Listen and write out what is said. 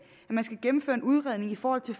at gennemføres en udredning i forhold til